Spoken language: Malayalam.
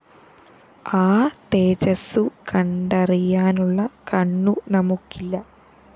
ആ തേജസ്സു കണ്ടറിയാനുള്ള കണ്ണു നമുക്കില്ല